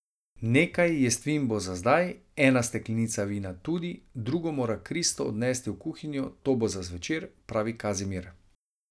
Nekaj jestvin bo za zdaj, ena steklenica vina tudi, drugo mora Kristo odnest v kuhinjo, to bo za zvečer, pravi Kazimir.